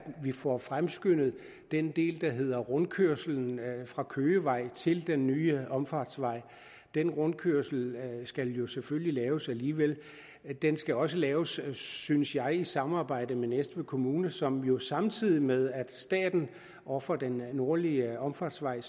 vi får fremskyndet den del der hedder rundkørslen fra køgevej til den nye omfartsvej den rundkørsel skal jo selvfølgelig laves alligevel den skal også laves synes jeg i samarbejde med næstved kommune som jo samtidig med at staten ofrer den nordlige omfartsvej